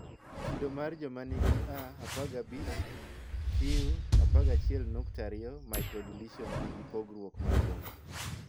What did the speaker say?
kido mar joma nigi a 15q11.2 microdeletion nigi pogruok maduong.